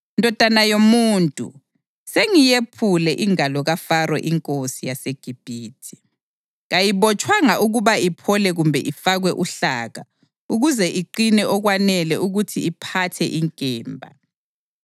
“Ndodana yomuntu, sengiyephule ingalo kaFaro inkosi yaseGibhithe. Kayibotshwanga ukuba iphole kumbe ifakwe uhlaka ukuze iqine okwanele ukuthi iphathe inkemba.